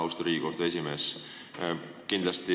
Austatud Riigikohtu esimees!